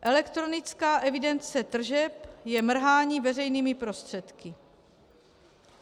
Elektronická evidence tržeb je mrhání veřejnými prostředky.